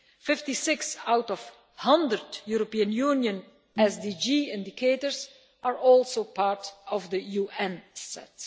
Fifty six of the 100 European Union SDG indicators are also part of the UN set.